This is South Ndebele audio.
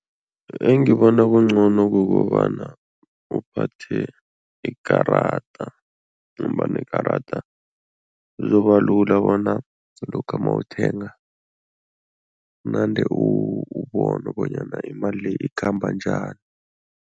Engibona kungcono kukobana uphathe ikarada ngombana ikarada kuzoba lula bona lokha mawuthenga unande ubona bonyana imali le ikhamba njani.